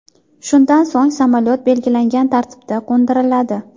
Shundan so‘ng samolyot belgilangan tartibda qo‘ndiriladi.